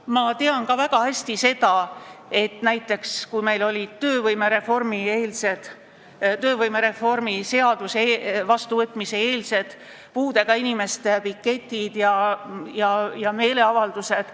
Ma mäletan väga hästi aega, kui meil olid töövõimereformi seaduse vastuvõtmise eel puudega inimeste piketid ja muud meeleavaldused.